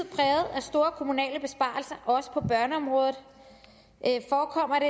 store kommunale besparelser også på børneområdet forekommer